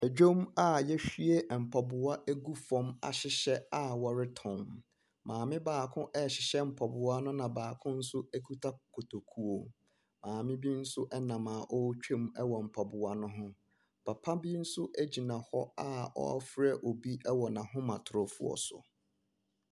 Ɛdwom a ya ahwie mpaboa agu fɔm ya hyehyɛ a ɔretɔn. Maame baako ɛhyehyɛ mpaboa no na baako nso ɛkuta kotokuo. Maame bi nso ɛnam a ootwam ɛwɔ mpaboa no ho, papabi nso ɛgyina hɔ a ɔɔfrɛ bi ɛwɔ na ahomatorofoɔ so.